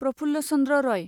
Praful Chandra Roy